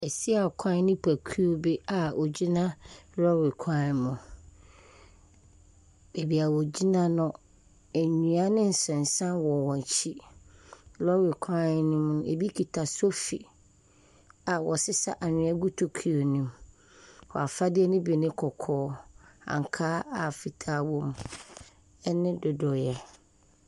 Asiakwan ne tokuo bi wɔgyina lɔɔre kwan mu, baabi wogyina no, nnua ne nsensan wɔ wɔn akyi. Lɔɔre kwan no mu, ebi kita sofi a wɔresesa anwea gu tokuo nomu. Wɔn afadeɛ no bi new kɔkɔɔ, ankaa a fitaa wɔ mu, ne ndodoeɛ.